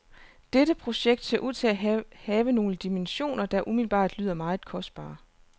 Dette projekt ser ud til at have nogle dimensioner, der umiddelbart lyder meget kostbare.